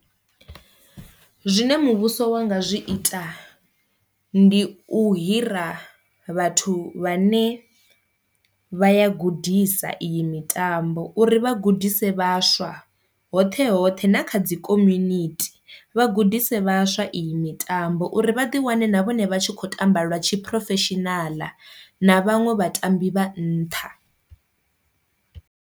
Zwine muvhuso wa nga zwi ita ndi u hira vhathu vha ne vha ya gudisa iyi mitambo uri vha gudisa vhaswa, hoṱhe hoṱhe na kha dzi community vha gudise vhaswa iyi mitambo uri vha ḓi wane na vhone vha tshi kho tamba lwa tshi professional na vhaṅwe vhatambi vha nṱha.